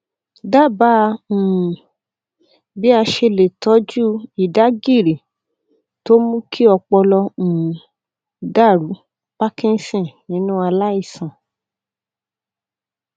dábàá um bí a ṣe lè tọjú ìdágìrì tó mú kí ọpọlọ um dàrú parkinson nínú aláìsàn